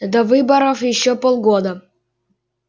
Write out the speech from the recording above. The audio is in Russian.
до выборов ещё полгода